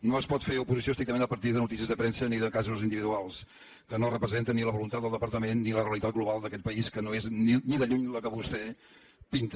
no es pot fer oposició estrictament a partir de notícies de premsa ni de casos individuals que no representen ni la voluntat del departament ni la realitat global d’aquest país que no és ni de lluny la que vostè pinta